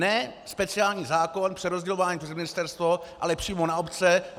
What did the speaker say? Ne speciální zákon přerozdělování přes ministerstvo, ale přímo na obce.